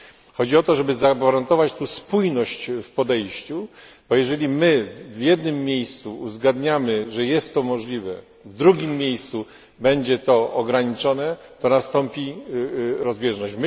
Chodzi o to, żeby zagwarantować tutaj spójność w podejściu, bo jeżeli my w jednym miejscu uzgadniamy, że jest to możliwe, a w drugim miejscu będzie to ograniczone, to nastąpi rozbieżność.